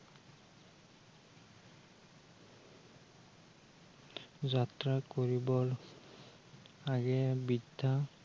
যাত্ৰা কৰিবৰ, আগেয়ে বিদ্য়া